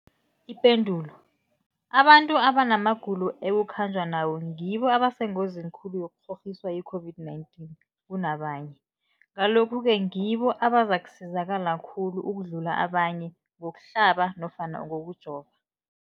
Ipendulo, abantu abanamagulo ekukhanjwa nawo ngibo abasengozini khulu yokukghokghiswa yi-COVID-19 kunabanye, Ngalokhu-ke ngibo abazakusizakala khulu ukudlula abanye ngokuhlaba nofana ngokujova.